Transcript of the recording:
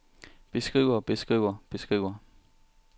beskriver beskriver beskriver